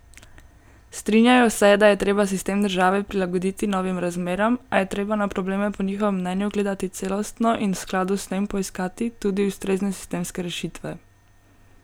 Strinjajo se, da je treba sistem države prilagoditi novim razmeram, a je treba na probleme po njihovem mnenju gledati celostno in v sladu s tem poiskati tudi ustrezne sistemske rešitve.